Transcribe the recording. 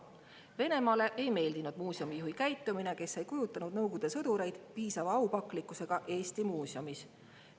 Venemaale ei meeldinud muuseumijuhi käitumine, sest ta ei kujutanud Nõukogude sõdureid piisava aupaklikkusega Eesti muuseumis.